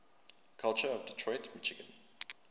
culture of detroit michigan